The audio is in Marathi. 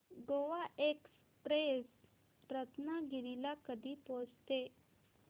गोवा एक्सप्रेस रत्नागिरी ला कधी पोहचते